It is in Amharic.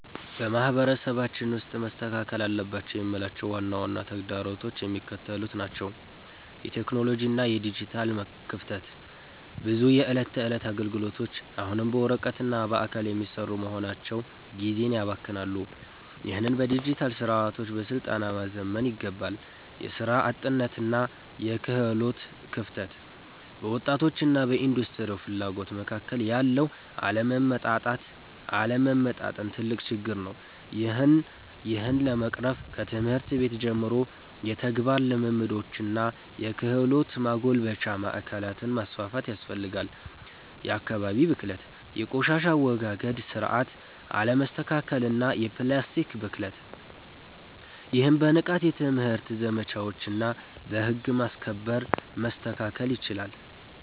በማህበረሰባችን ውስጥ መስተካከል አለባቸው የምላቸው ዋና ዋና ተግዳሮቶች የሚከተሉት ናቸው የቴክኖሎጂ እና የዲጂታል ክፍተት፦ ብዙ የዕለት ተዕለት አገልግሎቶች አሁንም በወረቀትና በአካል የሚሰሩ በመሆናቸው ጊዜን ያባክናሉ። ይህንን በዲጂታል ስርዓቶችና በስልጠና ማዘመን ይገባል። የሥራ አጥነትና የክህሎት ክፍተት፦ በወጣቶችና በኢንዱስትሪው ፍላጎት መካከል ያለው አለመጣጣም ትልቅ ችግር ነው። ይህን ለመቅረፍ ከትምህርት ቤት ጀምሮ የተግባር ልምምዶችንና የክህሎት ማጎልበቻ ማዕከላትን ማስፋፋት ያስፈልጋል። የአካባቢ ብክለት፦ የቆሻሻ አወጋገድ ስርዓት አለመስተካከልና የፕላስቲክ ብክለት። ይህም በንቃት የትምህርት ዘመቻዎችና በህግ ማስከበር መስተካከል ይችላል።